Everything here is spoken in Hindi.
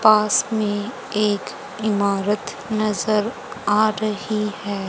पास मे एक इमारत नज़र आ रही है।